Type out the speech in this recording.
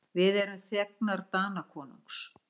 Við erum þegnar Danakonungs.